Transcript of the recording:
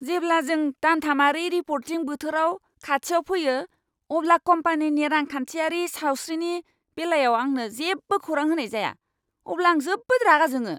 जेब्ला जों दानथामारि रिपर्टिं बोथोर खाथियाव फैयो, अब्ला कम्पानिनि रांखान्थियारि सावस्रिनि बेलायाव आंनो जेबो खौरां होनाय जाया अब्ला आं जोबोद रागा जोङो।